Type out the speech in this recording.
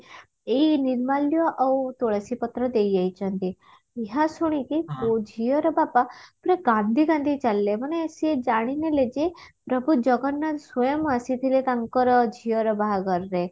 ଏଇ ନିର୍ମାଲ୍ୟ ଆଉ ତୁଳସୀ ପତ୍ର ଦେଇଯାଇଛନ୍ତି ଏହା ଶୁଣିକି ଝିଅର ବାପା ପୁରା କାନ୍ଦି କାନ୍ଦି ଚାଲିଲେ ମାନେ ସେ ଜାଣିନେଲେ ଯେ ପ୍ରଭୁ ଜଗନ୍ନାଥ ସ୍ଵୟଂ ଆସିଥିଲେ ତାଙ୍କର ଝିଅର ବାହାଘରରେ